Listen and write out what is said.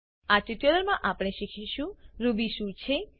આ ટ્યુટોરીયલમા આપણે શીખીશું રૂબી શું છે